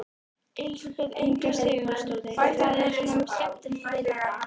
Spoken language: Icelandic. Elísabet Inga Sigurðardóttir: Hvað er svona skemmtilegt við þetta?